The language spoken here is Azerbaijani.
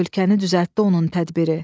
Ölkəni düzəltdi onun tədbiri.